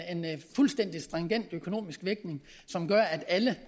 fuldstændig stringent økonomisk vægtning som gør at alle